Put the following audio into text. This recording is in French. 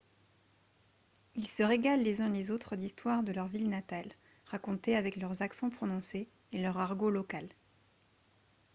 ils se régalent les uns les autres d'histoires de leurs villes natales racontées avec leurs accents prononcés et leur argot local